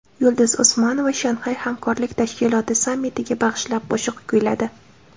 Yulduz Usmonova Shanxay hamkorlik tashkiloti sammitiga bag‘ishlab qo‘shiq kuyladi .